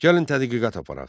Gəlin tədqiqat aparaq.